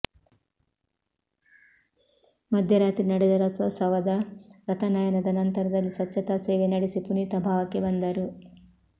ಮಧ್ಯರಾತ್ರಿ ನಡೆದ ರಥೋತ್ಸವದ ರಥನಯನದ ನಂತರದಲ್ಲಿ ಸ್ವಚ್ಛತಾ ಸೇವೆ ನಡೆಸಿ ಪುನೀತ ಭಾವಕ್ಕೆ ಬಂದರು